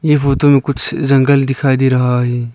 ये फोटो में कुछ जंगल दिखाई दे रहा है।